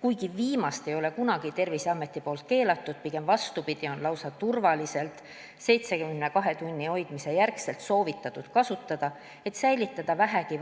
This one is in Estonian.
Kuigi viimast ei ole Terviseamet kunagi keelanud, pigem vastupidi, seda võimalust on soovitatud turvaliselt, pärast pakkide 72 tunniks seisma jätmist kasutada, et säilitada vähegi